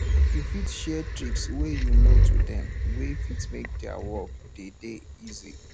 you fit share tricks wey you know to them wey fit make their work dey dey easy